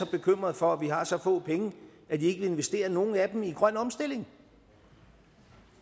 bekymret for at vi har så få penge at de ikke vil investere nogen af dem i grøn omstilling